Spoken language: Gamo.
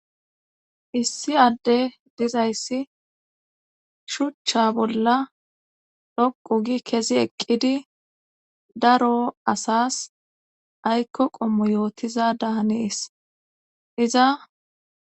Issi adde dizayssi shuchcha bolla dhoqu gi kezi eqqidi daro asas aykko qommo yootiza dahanees iza.